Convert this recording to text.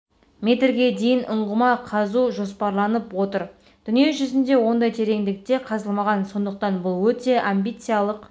метрге дейін ұңғыма қазу жоспарланып отыр дүние жүзінде ондай тереңдікте қазылмаған сондықтан бұл өте амбициялық